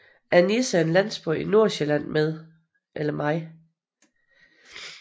Annisse er en landsby i Nordsjælland med